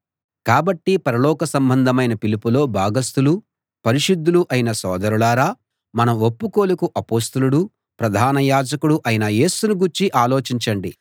కాబట్టి పరలోక సంబంధమైన పిలుపులో భాగస్థులూ పరిశుద్ధులూ అయిన సోదరులారా మన ఒప్పుకోలుకు అపొస్తలుడూ ప్రధాన యాజకుడూ అయిన యేసును గూర్చి ఆలోచించండి